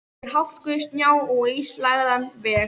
Yfir hálku, snjó og ísilagðan veg.